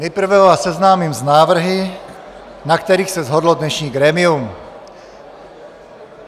Nejprve vás seznámím s návrhy, na kterých se shodlo dnešní grémium.